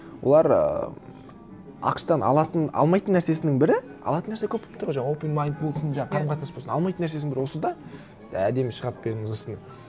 олар ыыы ақш тан алмайтын нәрсесінің бірі алатын нәрсе көп болып тұр ғой жаңа оупен майнд болсын жаңа қарым қатынас болсын алмайтын нәрсесінің бірі осы да әдемі шығарып беріңіз осыны